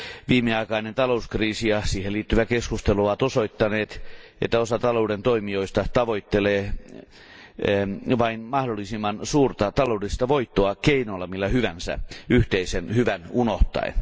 Viimeaikainen talouskriisi ja siihen liittyvä keskustelu ovat osoittaneet, että osa talouden toimijoista tavoittelee vain mahdollisimman suurta taloudellista voittoa keinolla millä hyvänsä yhteisen hyvän unohtaen.